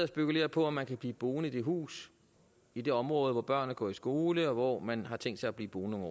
spekulerer på om man kan blive boende i det hus i det område hvor børnene går i skole og hvor man har tænkt sig at blive boende